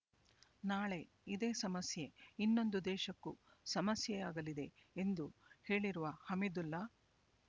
ನಾಳೆ ಇದೇ ಸಮಸ್ಯೆ ಇನ್ನೊಂದು ದೇಶಕ್ಕೂ ಸಮಸ್ಯೆಯಾಗಲಿದೆ ಎಂದು ಹೇಳಿರುವ ಹಮೀದುಲ್ಲಾ